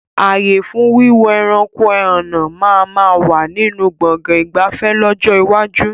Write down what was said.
Ààyè fún Wíwo ẹranko ẹhànnà máa ma wà nínú Gbọ̀ngán ìgbafẹ́ lọ́jọ́ iwájú